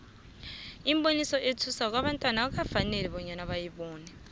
umboniso othusako abantwana akukafaneli bawubone